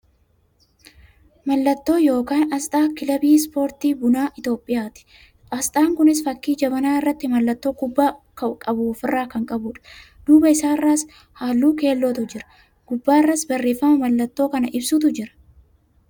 Mallattoo yookaan asxaa kilabii Ispoortii Bunaa Itiyoophiyaati. Asxaan kunis fakkii jabanaa irratti mallattoo kubbaa qabu of irraa kan qabudha. Duuba isaarraas haalluu keellootu jira. Gubbaarras barreeffama mallattoo kana ibsutu jira.